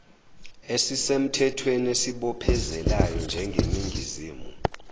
esisemthwethweni esibophezelayo njengeningizimu